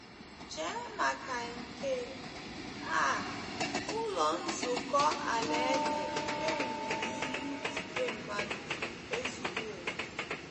Chee maka nke a, Ụlọ Nzukọ Alaeze e wuru n'ihu igwe mmadụ ezuwo oké.